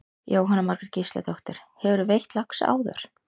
Jóhanna Margrét Gísladóttir: Hefurðu veitt lax áður?